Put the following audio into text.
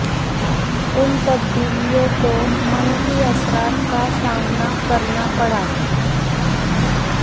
ان تبدیلیوں کو منفی اثرات کا سامنا کرنا پڑا